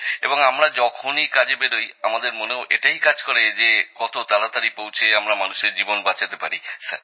এবং আমরাও যখনি কাজে বেরোই আমাদের মনেও এটাই কাজ করে যে কত তাড়াতাড়ি পৌঁছে আমরা মানুষের জীবন বাঁচাতে পারি স্যার